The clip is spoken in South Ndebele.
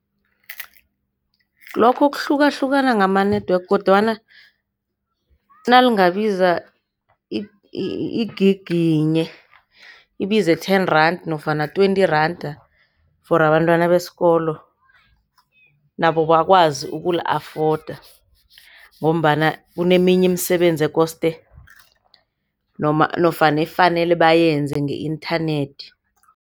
Lokho kuhlukahlukana ngama-network kodwana nalingabiza igigi yinye ibize ten rand nofana twenty randa for abantwana besikolo, nabo bakwazi ukuli-afoda ngombana kuneminye imisebenzi ekosde noma nofana efanele bayenze nge-inthanethi.